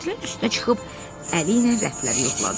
Kətilin üstünə çıxıb əli ilə rəfləri yoxladı.